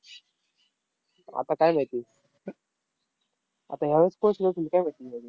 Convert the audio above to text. आता काय माहिती, आता ह्यावेळेस